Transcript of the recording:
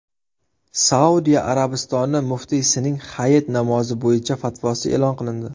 Saudiya Arabistoni muftiysining Hayit namozi bo‘yicha fatvosi e’lon qilindi.